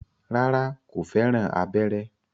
Rárá, kò fẹ́ràn abẹ́rẹ́